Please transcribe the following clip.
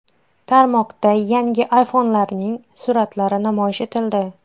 Tarmoqda yangi iPhone’larning suratlari namoyish etildi.